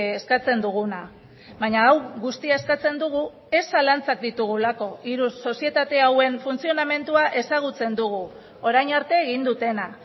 eskatzen duguna baina hau guztia eskatzen dugu ez zalantzak ditugulako hiru sozietate hauen funtzionamendua ezagutzen dugu orain arte egin dutena